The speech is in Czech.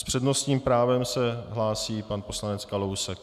S přednostním právem se hlásí pan poslanec Kalousek.